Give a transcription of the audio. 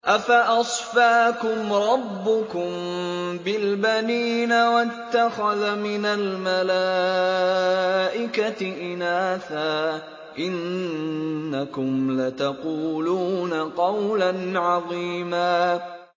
أَفَأَصْفَاكُمْ رَبُّكُم بِالْبَنِينَ وَاتَّخَذَ مِنَ الْمَلَائِكَةِ إِنَاثًا ۚ إِنَّكُمْ لَتَقُولُونَ قَوْلًا عَظِيمًا